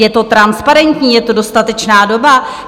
Je to transparentní, je to dostatečná doba?